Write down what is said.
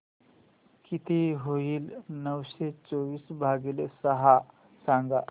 किती होईल नऊशे चोवीस भागीले सहा सांगा